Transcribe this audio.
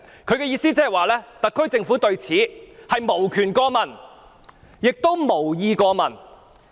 他的意思是，特區政府對此無權過問，亦無意過問。